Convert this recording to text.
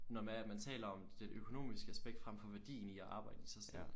Nå det er at man taler om det øknomiske aspekt frem for værdien i at arbejde i sig selv